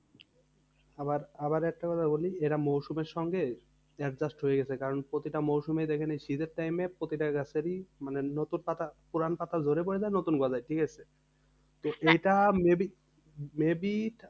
আবার আবার একটা কথা বলি এরা মরসুমের সঙ্গে adjust হয়ে গেছে কারণ প্রতিটা মরসুমেই দেখে নিন শীতের time এ প্রতিটা গাছেরই মানে নতুন পাতা পুরানো পাতা ঝরে পরে যায় নতুন গজায়, ঠিকাছে? এইটা maybe maybe